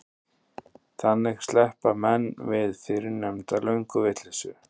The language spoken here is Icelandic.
þannig sleppa menn við fyrrnefnda lönguvitleysu